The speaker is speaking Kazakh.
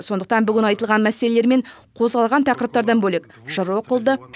сондықтан бүгін айтылған мәселелер мен қозғалған тақырыптардан бөлек жыр оқылды